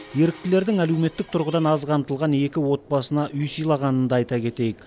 еріктілердің әлеуметтік тұрғыдан аз қамтылған екі отбасына үй сыйлағанын да айта кетейік